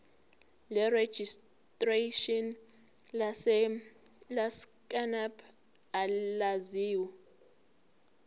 lerejistreshini lesacnasp elaziwa